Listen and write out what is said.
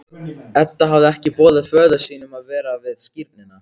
Edda hafði ekki boðið föður sínum að vera við skírnina.